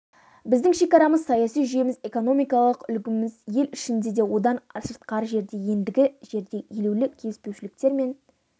біздің шекарамыз саяси жүйеміз экономикалық үлгіміз ел ішінде де одан сыртқары жерде де ендігі жерде елеулі келіспеушіліктер мен